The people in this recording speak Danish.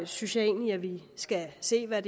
synes jeg egentlig at vi skal se hvad